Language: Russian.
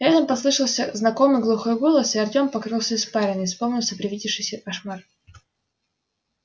рядом послышался знакомый глухой голос и артём покрылся испариной вспомнился привидевшийся кошмар